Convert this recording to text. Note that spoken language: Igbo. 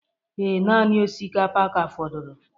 Ee, naanị osikapa ka fọdụrụ